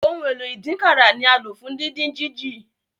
Ohun èlò ìdínkàrà ni alo fún didin jiji.